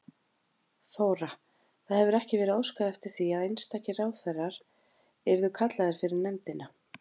Þóra: Það hefur ekki verið óskað eftir því að einstakir ráðherrar yrðu kallaðir fyrir nefndina?